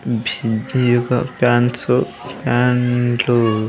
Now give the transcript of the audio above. ఇది ఒక ఫాన్స్ ఫ్యాన్లు .